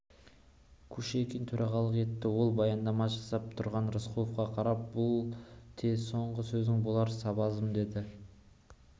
кушекин төрағалық етті ол баяндама жасап тұрған рысқұловқа қарап бұл те соңғы сөзің болар сабазым деді